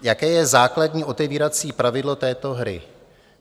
Jaké je základní otevírací pravidlo této hry?